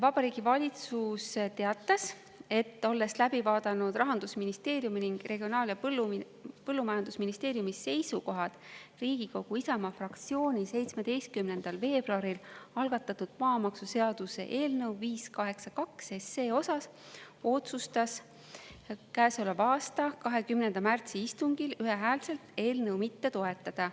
Vabariigi Valitsus teatas, et olles läbi vaadanud Rahandusministeeriumi ning Regionaal- ja Põllumajandusministeeriumi seisukohad Riigikogu Isamaa fraktsiooni 17. veebruaril algatatud maamaksuseaduse eelnõu 582 osas, otsustas käesoleva aasta 20. märtsi istungil ühehäälselt eelnõu mitte toetada.